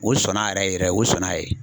Olu sɔnn'a yɛrɛ yɛrɛ, olu sɔnna yen.